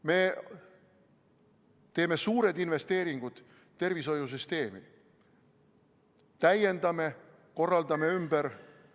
Me teeme suured investeeringud tervishoiusüsteemi, täiendame, korraldame ümber ...